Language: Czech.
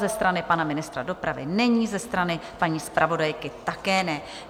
Ze strany pana ministra dopravy není, ze strany paní zpravodajky také ne.